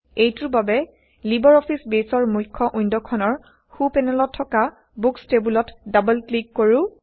এইটোৰ বাবে Libre Office বেইছৰ মুখ্য ৱিণ্ডখনৰ সো পেনেলত থকা বুকচ টেইবোলত ডাবল ক্লিক কৰো160